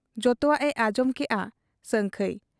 ᱡᱚᱛᱚᱣᱟᱜ ᱮ ᱟᱸᱡᱚᱢ ᱠᱮᱜ ᱟ ᱥᱟᱹᱝᱠᱷᱟᱹᱭ ᱾